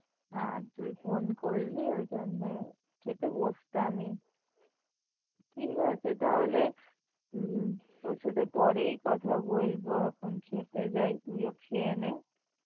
হ্যাঁ তুই phone করলি ওই জন্যে খেতে বোসতামই ঠিক আছে তাহলে হম তোর সাথে পরেই কথা বলবো অখন খেতে যাই তুই ও খেয়ে নে